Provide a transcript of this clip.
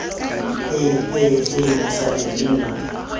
hei hei hei mosadi nna